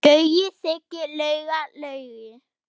Gaui, Siggi, Lauga, Laugi.